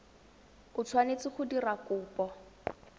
o tshwanetse go dira kopo